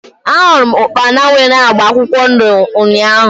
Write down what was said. A hụrụ m ukpana nwere agba akwụkwọ ndụ ụnyaahụ